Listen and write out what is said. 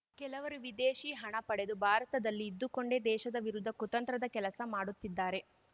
ಕೆಲವರು ವಿದೇಶಿ ಹಣ ಪಡೆದು ಭಾರತದಲ್ಲಿ ಇದ್ದುಕೊಂಡೇ ದೇಶದ ವಿರುದ್ಧ ಕುತಂತ್ರದ ಕೆಲಸ ಮಾಡುತ್ತಿದ್ದಾರೆ